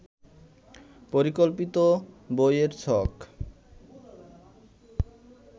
পরিকল্পিত বইয়ের ছক